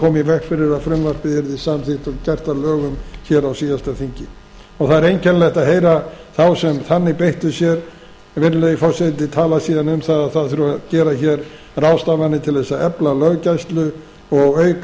veg fyrir að frumvarpið yrði samþykkt og gert að lögum hér á síðasta þingi það er einkennilegt að heyra þá sem þannig beittu sér virðulegi forseti tala síðan um að það þurfi að gera hér ráðstafanir til þess að efla löggæslu og auka